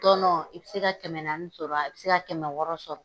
Tɔnon i bi se ka kɛmɛ naani sɔrɔ, a bi se ka kɛmɛ wɔɔrɔ sɔrɔ